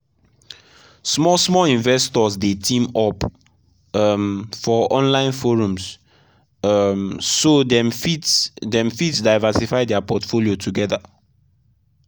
small-small investors dey team up um for online forums um so dem fit dem fit diversify their portfolio together.